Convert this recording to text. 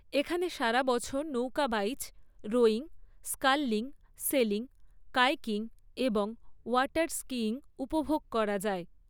এখানে সারা বছর নৌকা বাইচ, রোয়িং, স্কাললিং, সেলিং, কায়কিং এবং ওয়াটার স্কিইং উপভোগ করা যায়।